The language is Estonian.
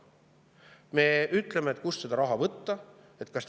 Me ütleme, kust seda raha võtta.